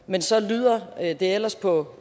men så lyder det ellers på